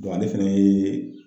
ale fɛnɛ ye